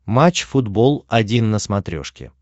матч футбол один на смотрешке